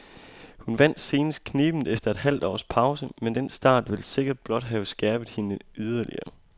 Hun vandt senest knebent efter et halvt års pause, men den start vil sikkert blot have skærpet hende yderligere.